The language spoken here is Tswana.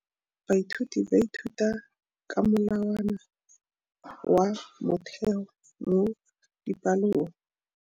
Baithuti ba ithuta ka molawana wa motheo mo dipalong.